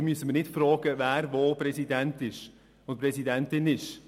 Wir müssen nicht fragen, wer wo Präsident oder Präsidentin ist.